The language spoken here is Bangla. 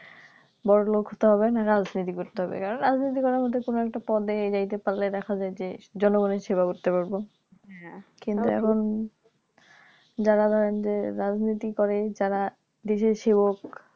বড়োলোক হতে হবে নাহলে রাজনীতি করতে হবে কারণ রাজনীতি করার মধ্যে কোনো একটা পদ এ যাইতে পারলে দেখা যায় যে জনগণ এর সেবা করতে পারবো কিন্তু এখন যারা ধরেন যে রাজনীতি করে যারা দেশের সেবক